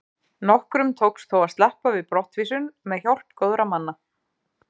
Nokkrum tókst þó að sleppa við brottvísun með hjálp góðra manna.